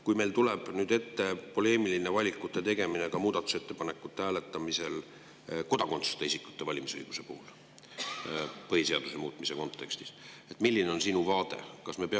Kui meil tuleb nüüd ette poleemiline valikute tegemine ka muudatusettepanekute hääletamisel kodakondsuseta isikute valimisõiguse puhul põhiseaduse muutmise kontekstis, siis milline on sinu vaade?